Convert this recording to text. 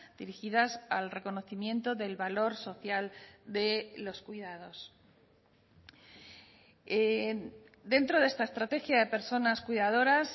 dirigidas al reconocimiento del valor social de los cuidados dentro de esta estrategia de personas cuidadoras